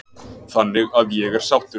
Þannig að ég er sáttur.